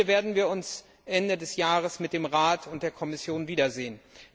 Hier werden wir uns Ende des Jahres mit dem Rat und der Kommission wiedersehen.